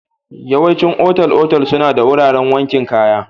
Yawaicin otal-otal suna da wuraren wankin kaya.